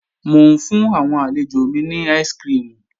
Mò ń fún àwọn àlejò mi ní áìsikirimù